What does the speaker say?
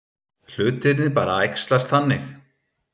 Hlutirnir bara æxlast þannig.